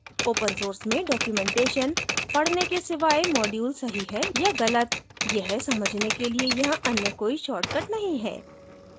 open source में documentation पढने के सिवाय module सही है या गलत यह समझने के लिए यहाँ अन्य कोई shortcut नहीं है